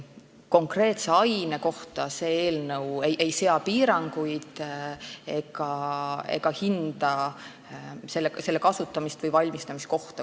Konkreetse aine kohta see eelnõu piiranguid ei sea ega hinda ka kuidagi selle kasutamist või valmistamiskohta.